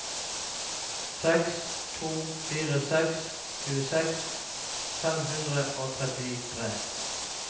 seks to fire seks tjueseks fem hundre og trettitre